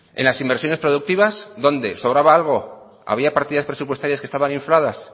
en las inversiones productivas dónde sobraba algo había partidas presupuestarias que estaban infladas